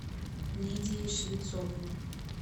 лидией швецовой